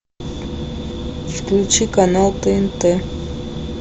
включи канал тнт